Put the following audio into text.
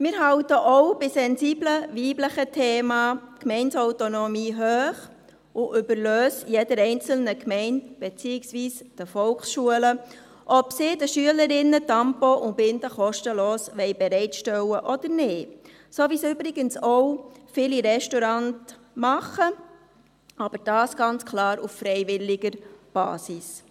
Wir halten auch bei sensiblen weiblichen Themen die Gemeindeautonomie hoch und überlassen es jeder einzelnen Gemeinde beziehungsweise den Volksschulen, ob sie den Schülerinnen Tampons und Binden kostenlos bereitstellen wollen oder nicht – so wie es übrigens auch viele Restaurants machen, aber das ganz klar auf freiwilliger Basis.